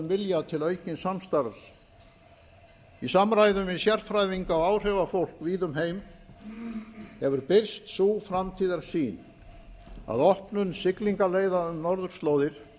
vilja til aukins samstarfs í samræðum við sérfræðinga og áhrifafólk víða um heim hefur birst sú framtíðarsýn að opnun siglingaleiða um norðurslóðir